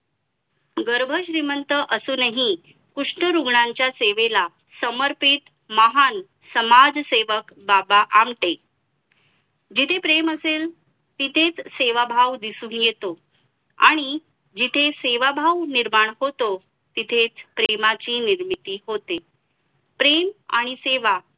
जिथे प्रम असेल तिथे तिथेच सेवाभाव दिसून येतो आणि जिथे सेवाभाव निर्माण होतो तिथेच प्रेमाची निर्मिती होते प्रेम आणि सेवा